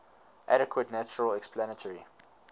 adequate natural explanatory